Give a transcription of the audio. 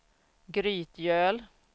Grytgöl